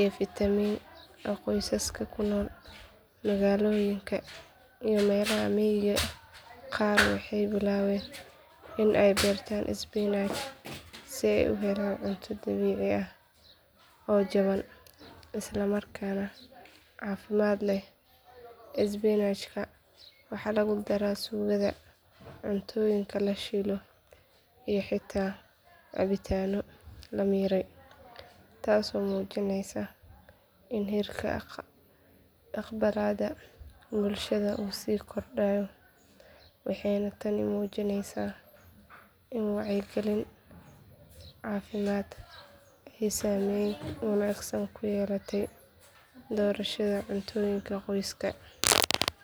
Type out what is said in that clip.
iyo fiitamiin a qoysaska ku nool magaalooyinka iyo meelaha miyiga qaar waxay bilaabeen in ay beertaan isbinaaj si ay u helaan cunto dabiici ah oo jaban isla markaana caafimaad leh isbinaajka waxaa lagu daraa suugada cuntooyinka la shiilo iyo xitaa cabitaanno la miiray taasoo muujinaysa in heerka aqbalaadda bulshada uu sii kordhayo waxayna tani muujinaysaa in wacyigelinta caafimaad ay saameyn wanaagsan ku yeelatay doorashada cuntooyinka qoysaska.